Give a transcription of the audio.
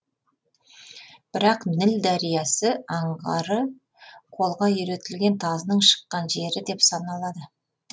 бірақ ніл дариясы аңғары қолға үйретілген тазының шыққан жері деп саналады